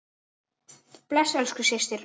Bless elsku systir.